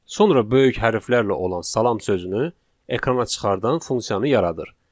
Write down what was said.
sonra böyük hərflərlə olan salam sözünü ekrana çıxardan funksiyanı yaradır.